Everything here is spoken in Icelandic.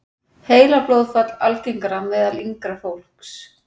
Heilablóðfall algengara meðal yngra fólks